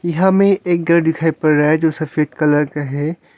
यहाँ में एक घर दिखाई पड़ रहा है जो सफेद कलर का है।